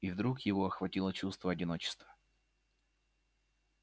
и вдруг его охватило чувство одиночества